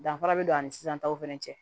Danfara bɛ don an ni sisan taw fana cɛ